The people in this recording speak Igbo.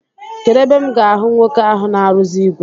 Kedụ ebe m ga-ahụ nwoke ahụ na-arụzi ìgwè?